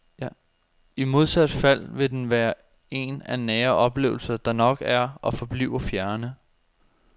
I modsat fald vil den være en af nære oplevelser, der nok er og forbliver fjerne.